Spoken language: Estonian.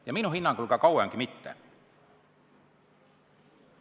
–, ja minu hinnangul kauemgi veel.